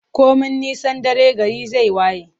Komi nisan dare, gari zai waye.